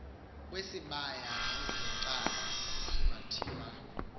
wesibaya avvunacala kungathiwa